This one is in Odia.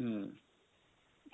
ହୁଁ,